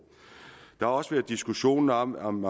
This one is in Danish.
der har også været diskussionen om om